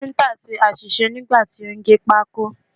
Káfíǹtà ṣe àṣìṣe nígbà tí ó ń gé pákó.